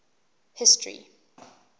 history